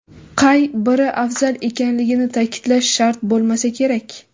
Qay biri afzal ekanligini ta’kidlash shart bo‘lmasa kerak.